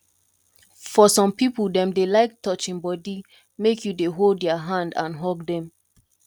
for some pipo dem dey like touching body make you dey hold their hand and hug them